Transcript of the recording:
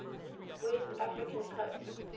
west african coast